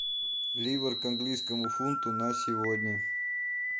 ливр к английскому фунту на сегодня